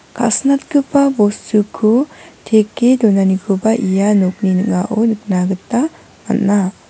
ka·sinatgipa bostuko teke donanikoba ia nokni ning·ao nikna gita man·a.